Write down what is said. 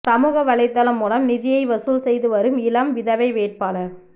சமூகவலைதளம் மூலம் நிதியை வசூல் செய்து வரும் இளம் விதவை வேட்பாளர்